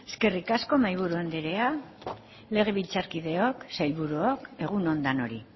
eskerrik asko mahaiburu andrea legebiltzarkideok sailburuok egun on denoi